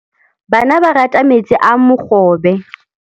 Bana ba rata metsi a mogobe.